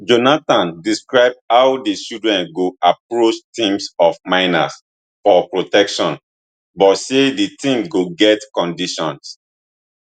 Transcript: jonathan describe how di children go approach teams of miners for protection but say di team go get conditions